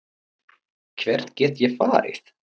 Hvert get ég farið